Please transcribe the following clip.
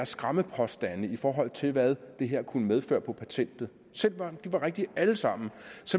skræmmepåstande i forhold til hvad det her kunne medføre på patentet selv om de var rigtige alle sammen